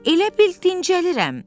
Elə bil dincəlirəm.